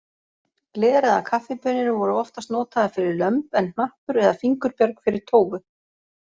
Gler eða kaffibaunir voru oftast notaðar fyrir lömb en hnappur eða fingurbjörg fyrir tófu.